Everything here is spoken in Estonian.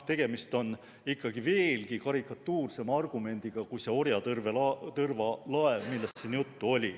Tegemist on veelgi karikatuursema argumendiga, kui see orjalaevatõrv, millest siin juttu oli.